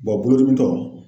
bolodimitɔ